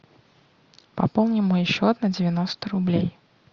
пополни мой счет на девяносто рублей